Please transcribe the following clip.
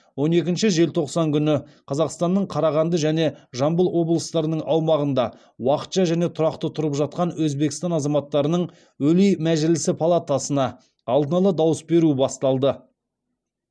он екінші желтоқсан күні қазақстанның қарағанды және жамбыл облыстарының аумағында уақытша және тұрақты тұрып жатқан өзбекстан азаматтарының өлий мәжілісі палатасына алдын ала дауыс беруі басталды